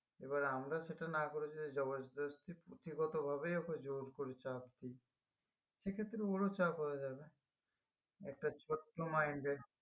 এবার আমরা সেটা না করে যদি জবরদস্তি ভাবেই ওকে জোর করি চাপ দি সেক্ষেত্রে ওর ও চাপও হয়ে যাবে একটা ছোট্ট mind এর